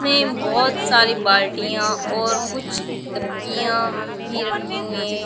में बहोत सारी बाल्टियाँ और कुछ डब्बियां भी रखी हुई है ।